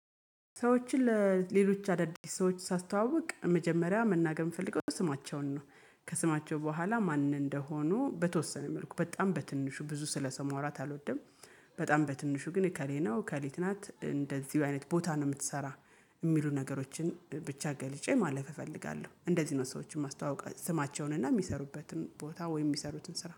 ሰዎችን ለሌሎች አዳዲስ ሰዎች ሳስተዋውቅ መጀመሪያ መናገር የምፈልገው ስማቸውን ነው ከስማቸው በኋላ ማን እንደሆኑ በተወሰነ መልኩ በጣም በትንሹ ብዙ ስለሰው ማውራት አልወደም። በጣም በትንሹ ግን እከሌ ከሊት ናት እንደዚሁ አይነት ቦታ ነው የምትሰራ የሚሉ ነገሮችን ብቻ ገልጬ ማለፍ እፈልጋለሁ። እንደዚህ ነው ሰዎችን ማስተዋወቅ ስማቸውን እና የሚሰሩበትን ቦታ ወይም የሚሰሩትን ስራ